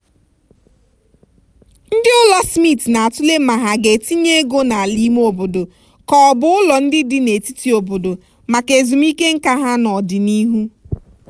ndị ụlọ smith na-atụle ma ha ga-etinye ego n'ala ime obodo ka ọ bụ ụlọ ndị dị n'etiti obodo maka ezumike nká ha n'ọdịnihu.